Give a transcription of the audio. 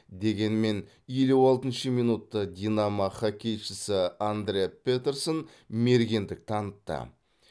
дегенмен елу алтыншы минутта динамо хоккейшісі андре петерсон мергендік танытты